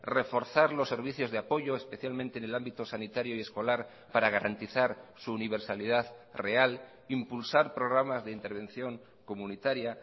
reforzar los servicios de apoyo especialmente en el ámbito sanitario y escolar para garantizar su universalidad real impulsar programas de intervención comunitaria